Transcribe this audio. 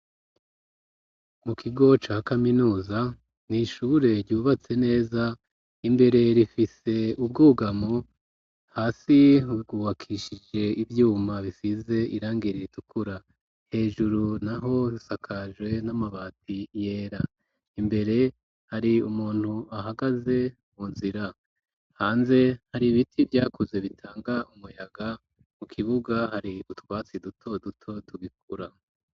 Mu kigo ca kaminuza nishure ryubatse neza imbere rifise ubwugamo hasi ryubakishije ivyuma bifise irangiri ritukura hejuru naho risakajwe n'amabati yera imbere hari umuntu ahagaze mu nzira hanze hari ibiti vyakuze bitanga umuyaga mu kibuga hari utwatsi duto duto tubikura.